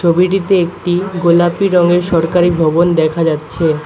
ছবিটিতে একটি গোলাপি রঙের সরকারি ভবন দেখা যাচ্ছে।